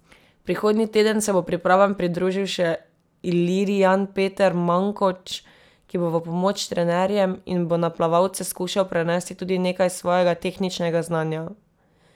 Prihodnji teden se bo pripravam pridružil še ilirijan Peter Mankoč, ki bo v pomoč trenerjem in bo na plavalce skušal prenesti tudi nekaj svojega tehničnega znanja.